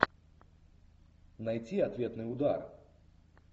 найти ответный удар